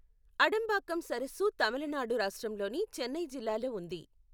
అడంబాక్కం సరస్సు తమిళనాడు రాష్ట్రంలోని చెన్నై జిల్లాలో ఉంది.